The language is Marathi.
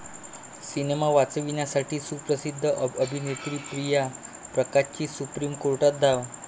सिनेमा वाचवण्यासाठी सुप्रसिद्ध अभिनेत्री प्रिया प्रकाशची सुप्रीम कोर्टात धाव!